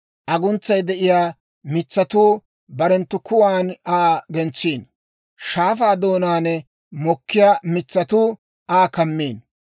Aguntsay de'iyaa mitsatuu barenttu kuwan Aa gentsiino; shaafaa doonaan doliyaa mitsatuu Aa kammiino.